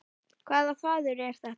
Hvaða þvaður er þetta?